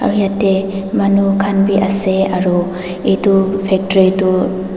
yatae manu khan bi ase aru edu factory tu--